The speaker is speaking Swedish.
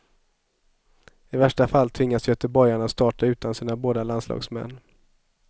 I värsta fall tvingas göteborgarna starta utan sina båda landslagsmän.